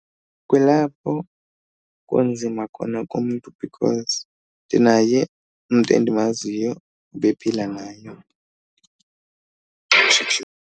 Kulapho kunzima khona kumntu because ndinaye umntu endimaziyo ubephila nayo.